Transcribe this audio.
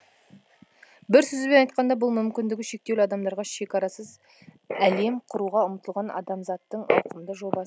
бір сөзбен айтқанда бұл мүмкіндігі шектеулі адамдарға шекарасыз әлем құруға ұмтылған адамзаттың ауқымды жоба